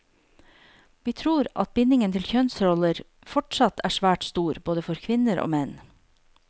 Vi tror at bindingen til kjønnsroller fortsatt er svært stor, både for kvinner og menn.